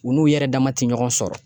U n'u yɛrɛ dama te ɲɔgɔn sɔrɔ.